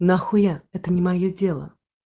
нахуя это не моё дело